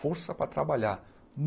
Força para trabalhar.